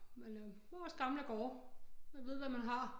Men øh det var også gamle gårde man ved hvad man har